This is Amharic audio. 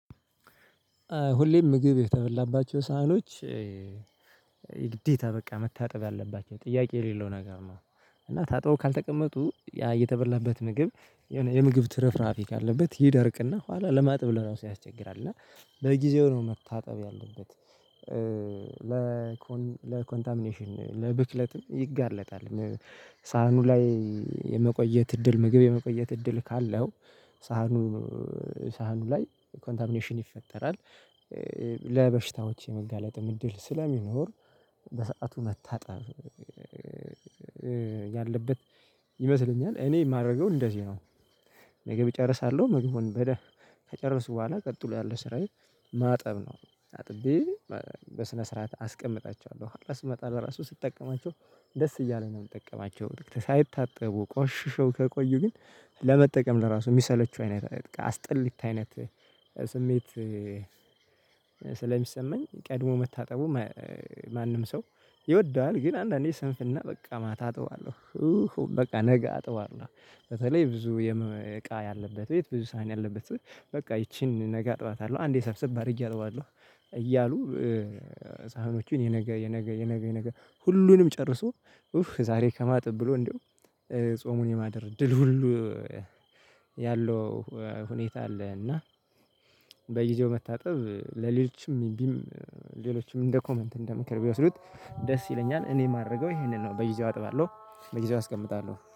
ሁሌም ምግብ የተበላባቸው ሳህኖች የግዴታ በቃ መታጠብ ያለባችሁ ጥያቄ የሌለው ነገር ነው። እና ታጥቦ ካልተቀመጡ ያ የተበላበት ምግብ የሆነ የምግብ ትርፍራፊ ካለበት ይደርቅና ኋላ ለማጥብ ለራሱ ያስቸግራል እና በጊዜው ነው መታጠብ ያለበት ለኮን ለኮንታሚኔሽን ለብክለትም ይጋለጣል። ሳህኑ ላይ የመቆየት እድል ምግብ የመቆየት እድል ካለው ሳህኑ ሳህኑ ላይ ኮንታሚኔሽን ይፈጠራል። ለበሽታዎች የመጋለጥም እድል ስለሚኖር በሰአቱ መታጠብ ያለበት ይመስለኛል እኔ የማደርገው እንደዚህ ነው። ምግብ እጨርሳለሁ ምግቡውን በደምብ ከጨረሱ በኋላ ቀጥሎ ያለ ስራዬ ማጠብ ነው። አጥቤ በስነ ስርዓት አስቀምጣቸዋለሁ ኃላ ስመጣ ለራሱ ስጠቀማቸው ደስ እያለኝ ነው የምጠቀማቸው ሳይታጠቡ ቆሽሾ ከቆዩ ግን ለመጠቀም ለራሱ የሚሰለቹ አይነት አስጤሊታ አይነት ስሜት። ስለሚሰማኝ ቀድሞ መታጠቡ ማንም ሰው ይወደዋል ግን አንዳንዴ ስንፍና በቃ ማታ አጥባለሁ። በቃ ነገ አጥባለሁ በተለይ ብዙ እቃ ያለበት ቤት ብዙ ሳህን ያለበት በቃ ይቺን ነገ አጥባታለሁ አንዴ ሰብስብ ባድርጌ አጥባለሁ። እያሉ ሳህኖችን የነገ የነገ የነገ የነገ ሁሉንም ጨርሶ ኡፍ ዛሬ ከማጥብ ብሎ እንደው ጾሙን የማደር እድል ሁሉ ያለው ሁኔታ አለ። እና በጊዜው መታጠብ ለሌሎችም ሌሎችም እንደ ኮመንት እንደ ምክር ቢወስዱት ደስ ይለኛል። እኔ የማረገው ይሄንን ነው በጊዜው አጥባለሁ በጊዜው አስቀምጣለሁ